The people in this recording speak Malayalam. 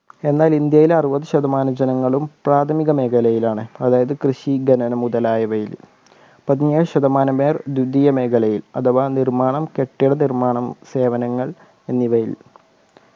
എന്നാൽ ഇന്ത്യയിൽ അറുപത് ശതമാനം ജനങ്ങളും പ്രാഥമിക മേഖലയിലാണ് അതായത് കൃഷി ഖനനം മുതലായവയിൽ പതിനേഴ് ശതമാനം പേർ ദ്വിതീയ മേഖലയിൽ അഥവാ നിർമ്മാണം കെട്ടിടനിർമ്മാണം സേവനങ്ങൾ എന്നിവയിൽ